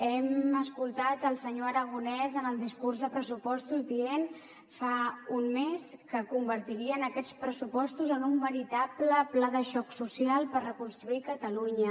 hem escoltat el senyor aragonès en el discurs de pressupostos dient fa un mes que convertirien aquests pressupostos en un veritable pla de xoc social per reconstruir catalunya